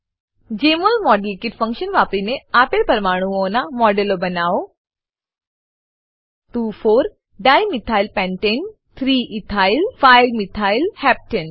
જમોલ model kit function વાપરીને આપેલ પરમાણુઓનાં મોડેલો બનાવો 2 4 ડાઇમિથાઇલ પેન્ટને 2 4 ડાયમિથાઈલ પેન્ટેન અને 3 ઇથાઇલ 5 મિથાઇલ હેપ્ટને 3 ઈથાઈલ 5 મિથાઈલ હેપ્ટેન